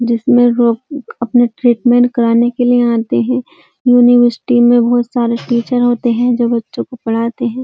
जिसमे रोग अपने ट्रीटमेन्ट कराने के लिए यहाँ आते हैं। यूनिवर्सिटी में बोहोत सारे टीचर होते हैं जो बच्चों को पढाते हैं।